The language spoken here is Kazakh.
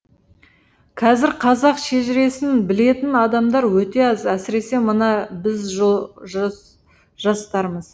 қазір қазақ шежіресін білетін адамдар өте аз әсіресе мына біз жастармыз